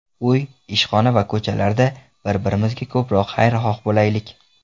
Uy, ishxona va ko‘chalarda, bir-birimizga ko‘proq xayrixoh bo‘laylik.